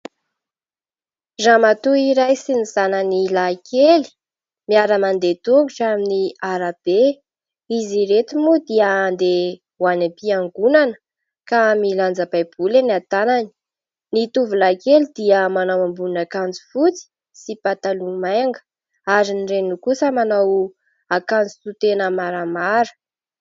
Ramatoa iray sy ny zanany lahy kely miara-mandeha tongotra amin'ny arabe. Izy ireto moa dia andeha ho any am-piangonana ka milanja baiboly eny an-tanany. Ny tovolahy kely dia manao ambonin'akanjo fotsy sy pataloha manga ary ny reniny kosa manao akanjo to tena maramara.